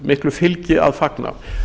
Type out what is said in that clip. miklu fylgi að fagna